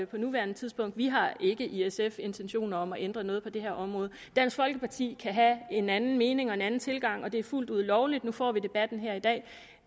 på nuværende tidspunkt vi har ikke i sf intentioner om at ændre noget på det her område dansk folkeparti kan have en anden mening og en anden tilgang og det er fuldt ud lovligt nu får vi debatten her i dag